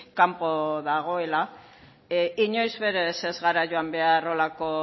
kanpo dagoela inoiz berez ez gara joan behar holako